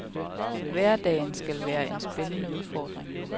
Hverdagen skal være en spændende udfordring.